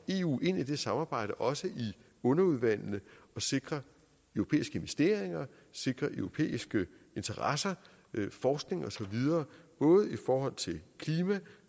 eu ind i det samarbejde også i underudvalgene og sikre europæiske investeringer sikre europæiske interesser forskning og så videre både i forhold til klima